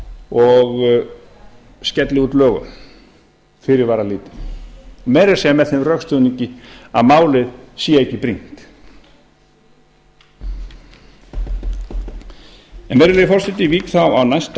og skelli út lögum fyrirvaralítið meira að segja með þeim rökstuðningi að málið sé ekki brýnt en virðulegi forseti ég vík þá að næsta